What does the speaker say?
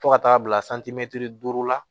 Fo ka taa bila duuru la